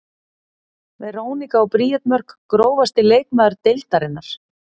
Veronika og Bríet Mörk Grófasti leikmaður deildarinnar?